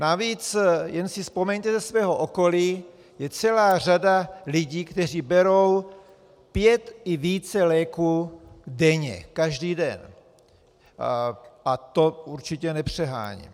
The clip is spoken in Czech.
Navíc jen si vzpomeňte ze svého okolí, je celá řada lidí, kteří berou pět i více léků denně, každý den, a to určitě nepřeháním.